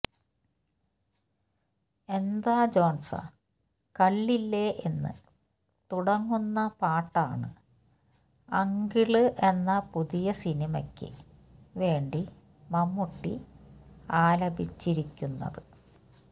എന്താ ജോണ്സാ കള്ളില്ലേ എന്ന് തുടങ്ങുന്ന പാട്ടാണ് അങ്കിള് എന്ന പുതിയ സിനിമയ്ക്ക് വേണ്ടി മമ്മൂട്ടി ആലപിച്ചിരിക്കുന്നത്